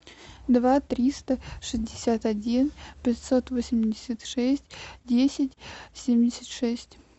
два триста шестьдесят один пятьсот восемьдесят шесть десять семьдесят шесть